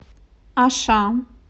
аша